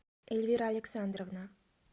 эльвира александровна